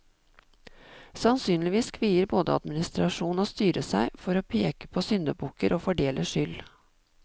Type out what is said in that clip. Sannsynligvis kvier både administrasjon og styre seg for å peke på syndebukker og fordele skyld.